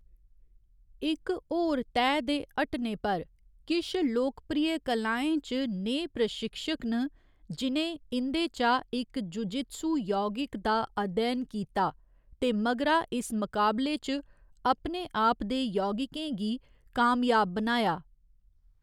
इक होर तैह् दे हटने पर, किश लोकप्रिय कलाएं च नेह् प्रशिक्षक न जि'नें इं'दे चा इक जुजित्सु यौगिक दा अध्ययन कीता ते मगरा इस मकाबले च अपने आप दे यौगिकें गी कामयाब बनाया।